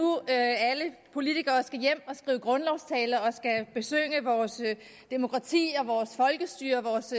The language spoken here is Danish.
alle politikere skal hjem og skrive grundlovstaler og besynge vores demokrati vores folkestyre vores